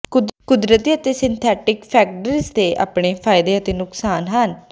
ਕੁਦਰਤੀ ਅਤੇ ਸਿੰਥੈਟਿਕ ਫੈਗ੍ਰਿਡਜ਼ ਦੇ ਆਪਣੇ ਫ਼ਾਇਦੇ ਅਤੇ ਨੁਕਸਾਨ ਹਨ